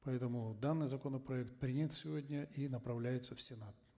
поэтому данный законопроект принят сегодня и направляется в сенат